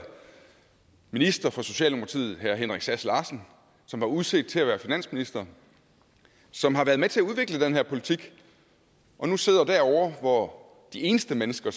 minister fra socialdemokratiet herre henrik sass larsen som var udset til at være finansminister som har været med til at udvikle den her politik og nu sidder derovre hvor de eneste mennesker